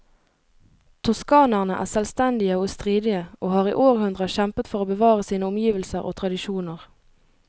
Toskanerne er selvstendige og stridige, og har i århundrer kjempet for å bevare sine omgivelser og tradisjoner.